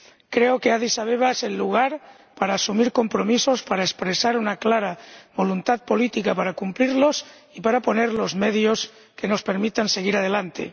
Creo que Adís Abeba es el lugar para asumir compromisos, para expresar una clara voluntad política de cumplirlos y para poner los medios que nos permitan seguir adelante.